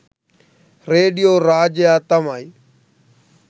radio රාජයා තමයි